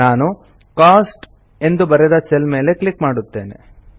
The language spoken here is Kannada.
ನಾನು ಕೋಸ್ಟ್ ಎಂದು ಬರೆದ ಸೆಲ್ ಮೇಲೆ ಕ್ಲಿಕ್ ಮಾಡುತ್ತೇನೆ